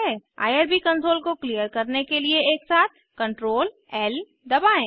IRB console को clear करने के लिए एकसाथ Ctrl ल दबाएं